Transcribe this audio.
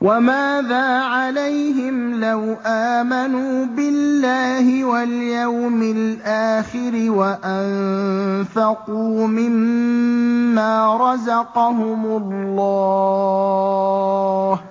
وَمَاذَا عَلَيْهِمْ لَوْ آمَنُوا بِاللَّهِ وَالْيَوْمِ الْآخِرِ وَأَنفَقُوا مِمَّا رَزَقَهُمُ اللَّهُ ۚ